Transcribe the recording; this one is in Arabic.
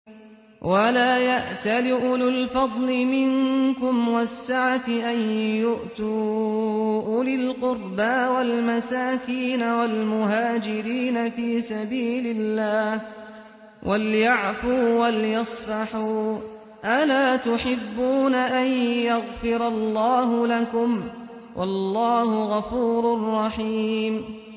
وَلَا يَأْتَلِ أُولُو الْفَضْلِ مِنكُمْ وَالسَّعَةِ أَن يُؤْتُوا أُولِي الْقُرْبَىٰ وَالْمَسَاكِينَ وَالْمُهَاجِرِينَ فِي سَبِيلِ اللَّهِ ۖ وَلْيَعْفُوا وَلْيَصْفَحُوا ۗ أَلَا تُحِبُّونَ أَن يَغْفِرَ اللَّهُ لَكُمْ ۗ وَاللَّهُ غَفُورٌ رَّحِيمٌ